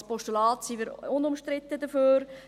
Als Postulat sind wir unumstritten dafür.